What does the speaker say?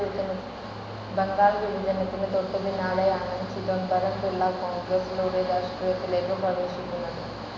ബംഗാൾ വിഭജനത്തിന് തൊട്ട് പിന്നാലെയാണ് ചിദംബരം പിളള കോൺഗ്രസിലൂടെ രാഷ്ട്രീയത്തിലേക്ക് പ്രവേശിക്കുന്നത്.